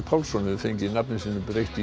Pálsson hefur fengið nafni sínu breytt